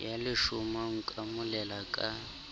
ya leshoma o nkomela ka